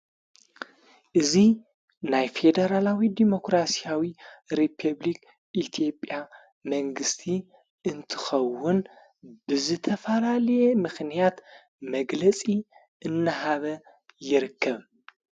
እዙ ናይ ፌዴራላዊ ዴሞክራስያዊ ሪቤፕሊክ ኢቲኢትዮጵያ መንግሥቲ እንትኸውን ብዝተፋላልየ ምኽንያት መግለጺ እነሃበ ይርከብ ::